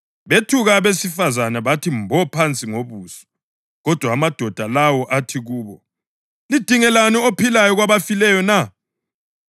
Bethuka abesifazane bathi mbo phansi ngobuso, kodwa amadoda lawo athi kubo, “Lidingelani ophilayo kwabafileyo na?